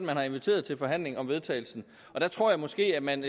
man har inviteret til forhandling om vedtagelsen og jeg tror måske at man